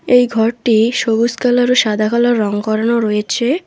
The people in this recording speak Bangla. এই ঘরটি সবুজ কালার ও সাদা কালার রঙ করানো রয়েছে।